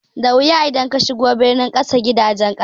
Da wuya idan kashigo birni kaga gidajen ƙasa